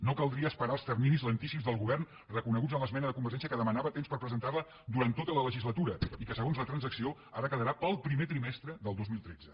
no caldria esperar els terminis lentíssims del govern reconeguts a l’esmena de convergència que demanava temps per presentar la durant tota la legislatura i que segons la transacció ara quedarà per al primer trimestre del dos mil tretze